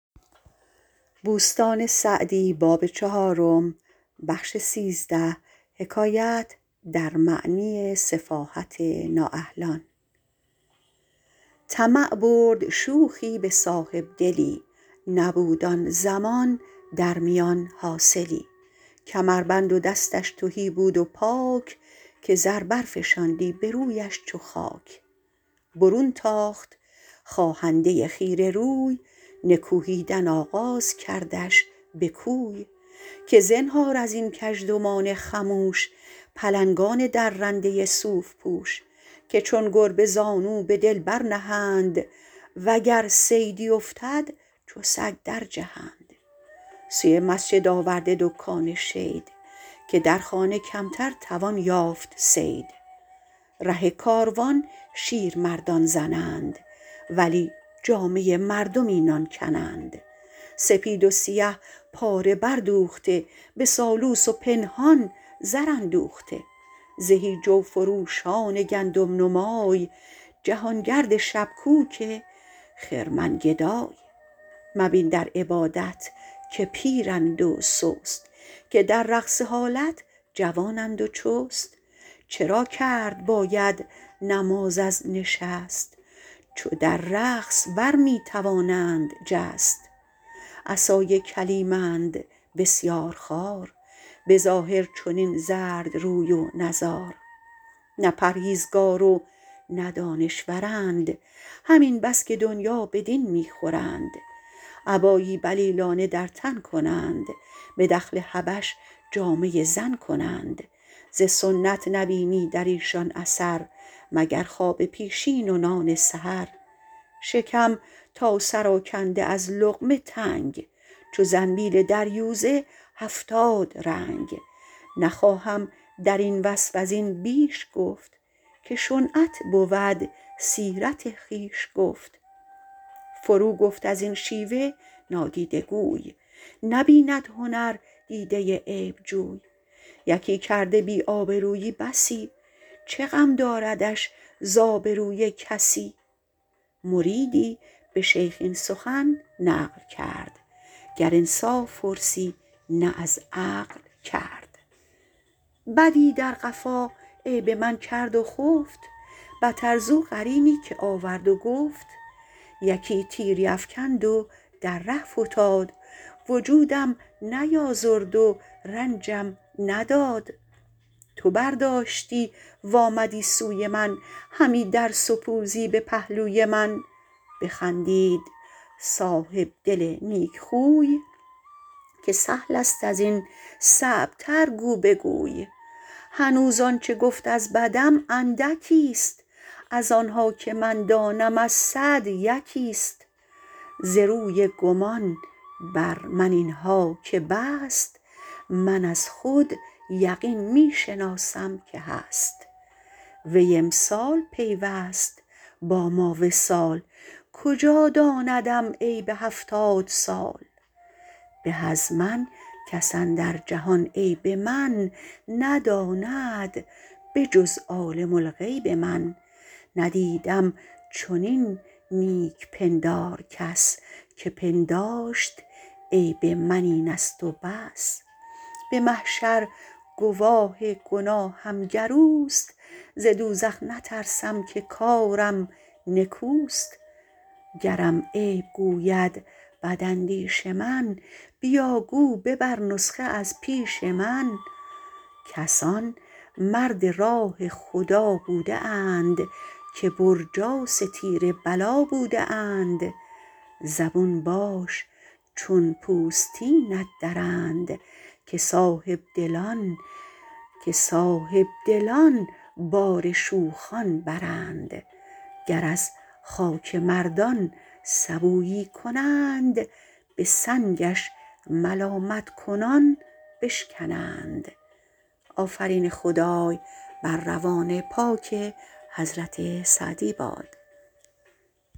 طمع برد شوخی به صاحبدلی نبود آن زمان در میان حاصلی کمربند و دستش تهی بود و پاک که زر برفشاندی به رویش چو خاک برون تاخت خواهنده خیره روی نکوهیدن آغاز کردش به کوی که زنهار از این کژدمان خموش پلنگان درنده صوف پوش که چون گربه زانو به دل برنهند و گر صیدی افتد چو سگ در جهند سوی مسجد آورده دکان شید که در خانه کمتر توان یافت صید ره کاروان شیرمردان زنند ولی جامه مردم اینان کنند سپید و سیه پاره بر دوخته به سالوس و پنهان زر اندوخته زهی جو فروشان گندم نمای جهانگرد شبکوک خرمن گدای مبین در عبادت که پیرند و سست که در رقص و حالت جوانند و چست چرا کرد باید نماز از نشست چو در رقص بر می توانند جست عصای کلیمند بسیار خوار به ظاهر چنین زرد روی و نزار نه پرهیزگار و نه دانشورند همین بس که دنیا به دین می خورند عبایی بلیلانه در تن کنند به دخل حبش جامه زن کنند ز سنت نبینی در ایشان اثر مگر خواب پیشین و نان سحر شکم تا سر آکنده از لقمه تنگ چو زنبیل دریوزه هفتاد رنگ نخواهم در این وصف از این بیش گفت که شنعت بود سیرت خویش گفت فرو گفت از این شیوه نادیده گوی نبیند هنر دیده عیبجوی یکی کرده بی آبرویی بسی چه غم داردش ز آبروی کسی مریدی به شیخ این سخن نقل کرد گر انصاف پرسی نه از عقل کرد بدی در قفا عیب من کرد و خفت بتر زو قرینی که آورد و گفت یکی تیری افکند و در ره فتاد وجودم نیازرد و رنجم نداد تو برداشتی و آمدی سوی من همی در سپوزی به پهلوی من بخندید صاحبدل نیکخوی که سهل است از این صعب تر گو بگوی هنوز آنچه گفت از بدم اندکی است از آنها که من دانم از صد یکی است ز روی گمان بر من اینها که بست من از خود یقین می شناسم که هست وی امسال پیوست با ما وصال کجا داندم عیب هفتاد سال به از من کس اندر جهان عیب من نداند به جز عالم الغیب من ندیدم چنین نیک پندار کس که پنداشت عیب من این است و بس به محشر گواه گناهم گر اوست ز دوزخ نترسم که کارم نکوست گرم عیب گوید بد اندیش من بیا گو ببر نسخه از پیش من کسان مرد راه خدا بوده اند که برجاس تیر بلا بوده اند زبون باش چون پوستینت درند که صاحبدلان بار شوخان برند گر از خاک مردان سبویی کنند به سنگش ملامت کنان بشکنند